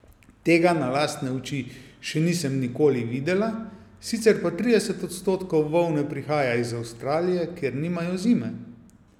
Tega na lastne oči še nisem nikoli videla, sicer pa trideset odstotkov volne prihaja iz Avstralije, kjer nimajo zime.